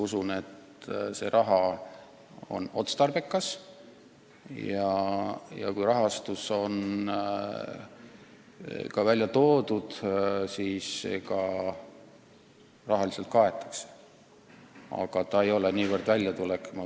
Usun, et see rahakasutus on otstarbekas ja kuigi on öeldud, et kulud kaetakse, ei ole kokkuvõttes tegu raha väljaminemisega.